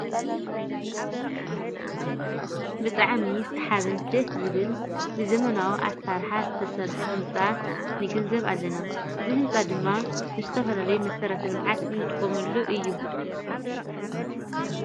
ብጥዓሚ ስሓብን ደስ ዝብል ብዘመናዊ ኣሣርሓ ዝተሠርሐ ሕንፃ ንግንዘብ ኣለና ዝ ሕንፃ ድማ ዝስተፈልለይ መሠረትኣል መዓት እንጥቁምሉ እዩ።